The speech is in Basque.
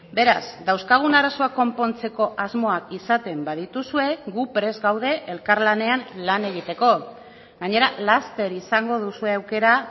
beraz dauzkagun arazoak konpontzeko asmoak izaten badituzue gu prest gaude elkarlanean lan egiteko gainera laster izango duzue aukera